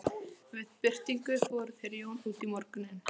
Það verður vandræðaleg þögn og pabbi ræskir sig.